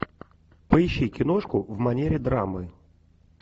поищи киношку в манере драмы